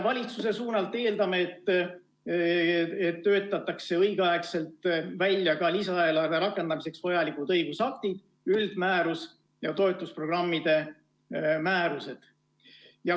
Valitsuse suunalt eeldame, et töötatakse õigeaegselt välja ka lisaeelarve rakendamiseks vajalikud õigusaktid, üldmäärus ja toetusprogrammide määrused.